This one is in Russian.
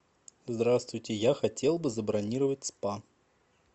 здравствуйте я хотел бы забронировать спа